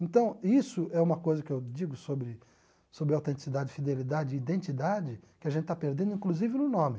Então, isso é uma coisa que eu digo sobre sobre autenticidade, fidelidade e identidade, que a gente está perdendo, inclusive, no nome.